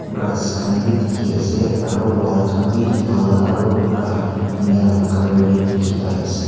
grass khan beh dekhe ase aro wall khan beh lal aro muka ena la colour tey dekhe pai ase.